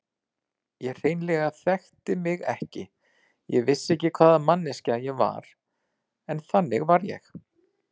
Ég hreinlega þekkti mig ekki, vissi ekki hvaða manneskja ég var, en þannig var ég.